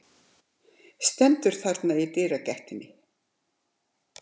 Stendur þarna í dyragættinni.